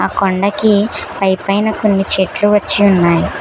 కొండకి పైపైన కొన్ని చెట్లు వచ్చి ఉన్నాయి.